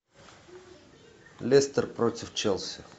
лестер против челси